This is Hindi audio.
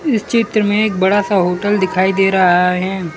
इस चित्र में एक बड़ा सा होटल दिखाई दे रहा है।